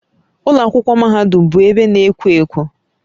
Ụlọ akwụkwọ mahadum bụ ebe na-ekwo ekwo